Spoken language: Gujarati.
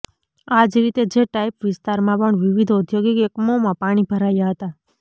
આ જ રીતે જે ટાઇપ વિસ્તારમાં પણ વિવિધ ઔદ્યોગિક એકમોમાં પાણી ભરાયા હતાં